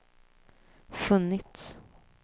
funnits